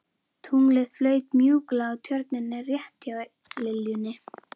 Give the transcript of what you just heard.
Tunglið flaut mjúklega á Tjörninni rétt hjá liljunni.